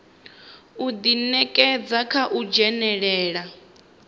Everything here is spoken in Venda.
u ḓinekedza kha u dzhenelela